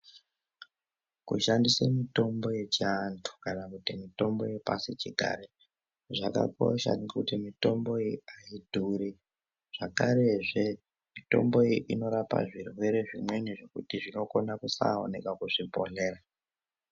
Kushandisa mitombo yechiantu kanakuti mitombo yepashi chigare zvakakosha nekuti hayidhuri zvakarezve mitombo iyi inorapa zvirwere zvimweni zvekuti zvinokona kusawonekwa kuzvibhedhlera.